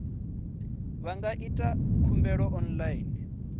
vha nga ita khumbelo online